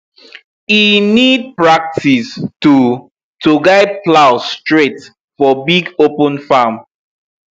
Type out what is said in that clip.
e need practice to to guide plow straight for big open farm